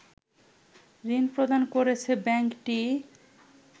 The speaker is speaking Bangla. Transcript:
ঋণ প্রদান করেছে ব্যাংকটি